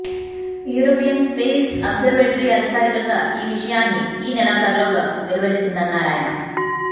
European space observatory అధికారికంగా ఈ విషయాన్ని ఈ నెలాఖరులోగా వెలువరిస్తుందన్నారాయన